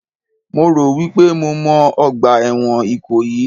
Mo rò wípé mo mọ ọgbà ẹ̀wọ̀n Ìkòyí